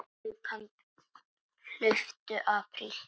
Hlauptu apríl.